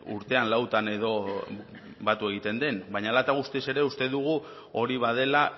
urtean lautan edo batu egiten den baina hala eta guztiz ere uste dugu hori badela